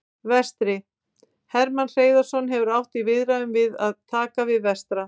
Vestri: Hermann Hreiðarsson hefur átt í viðræðum um að taka við Vestra.